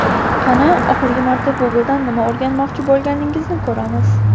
qani oxirgi marta Google dan nima o‘rganmoqchi bo‘lganingizni ko‘ramiz.